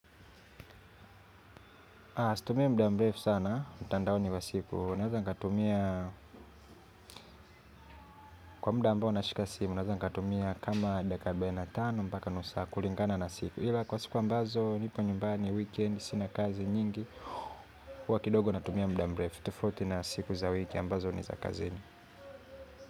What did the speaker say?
Haa, situmii muda mrefu sana, mtandaoni kwa siku. Naeza nikatumia, kwa muda ambao nashika simu, naeza nikatumia kama dakika arubaine tano mpaka nusu saa kulingana na siku. Ila kwa siku ambazo, nipo nyumbani, weekend, sina kazi, nyingi, huwa kidogo natumia muda mrefu, tofauti na siku za wiki ambazo ni za kazini.